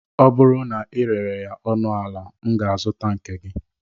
Ọ bụrụ na ị rere ya ọnụ ala, m ga-azụta nke gi